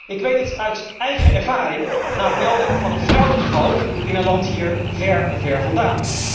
Ik weet het uit eigen ervaring na het melden van een fraudegeval in een land hier ver, ver vandaan.